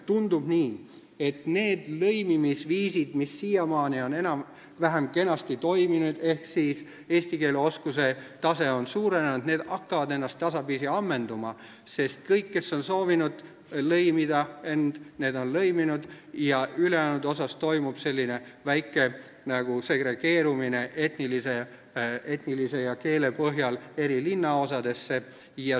Tundub nii, et need lõimimisviisid, mis siiamaani on enam-vähem kenasti toiminud, st eesti keele oskuse tase on suurenenud, hakkavad ennast tasapisi ammendama, sest kõik, kes on soovinud end lõimida, on juba lõiminud, ja ülejäänute puhul toimub väike segregeerumine etnilisuse ja keele põhjal eri linnaosadesse.